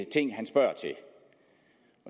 ting han spørger til